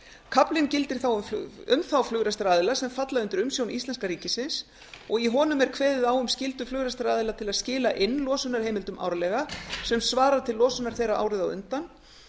kaflinn gildir þá um þá flugrekstraraðila sem falla undir umsjón íslenska ríkisins og í honum er kveðið á um skyldu flugrekstraraðila til að skila inn losunarheimildum árlega sem svarar til losunar þeirra árið á undan